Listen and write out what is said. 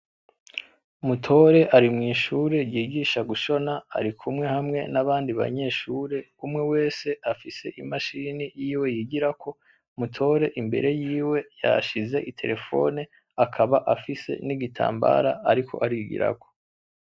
Mutore ari mw'ishure yigisha gushona ari kumwe hamwe n'abandi banyeshure umwe Wewe afise imashini yiwe yigirako, Mutore imbere yiwe yahashize iterefone akaba afise n'igitambara ariko arigirako